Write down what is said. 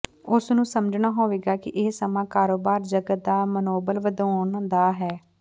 ਉਸ ਨੂੰ ਸਮਝਣਾ ਹੋਵੇਗਾ ਕਿ ਇਹ ਸਮਾਂ ਕਾਰੋਬਾਰ ਜਗਤ ਦਾ ਮਨੋਬਲ ਵਧਾਉਣ ਦਾ ਹੈ